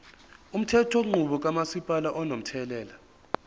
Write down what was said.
umthethonqubo kamasipala unomthelela